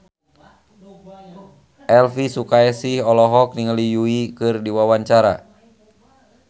Elvy Sukaesih olohok ningali Yui keur diwawancara